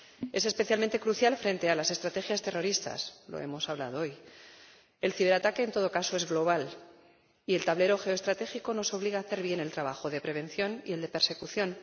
Es especialmente crucial frente a las estrategias terroristas ―lo hemos hablado hoy―. El ciberataque, en todo caso, es global y el tablero geoestratégico nos obliga a hacer bien el trabajo de prevención y el de persecución.